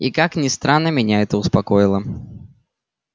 и как ни странно меня это успокоило